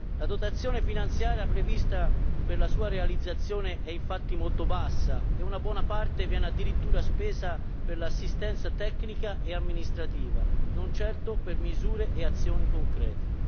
La dotazione finanziaria prevista per la sua realizzazione è infatti molto bassa e una buona parte viene addirittura spesa per l'assistenza tecnica e amministrativa, non certo per misure e azioni concrete.